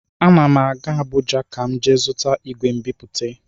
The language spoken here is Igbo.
Ana m aga Abụja ka m jee zụta igwe mbipute.